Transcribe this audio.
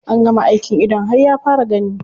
An gama aikin idon har ya fara gani.